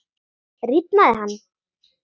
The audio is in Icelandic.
Rifnaði hann?